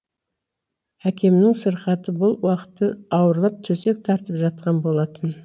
әкемнің сырқаты бұл уақытта ауырлап төсек тартып жатқан болатын